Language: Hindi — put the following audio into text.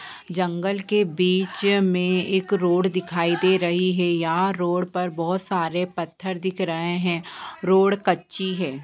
जंगल के बीच में एक रोड दिखाई दे रही हैं। यहाँ रोड पे बहुत सारे पत्थर दिख रहे हैं रोड कच्ची है।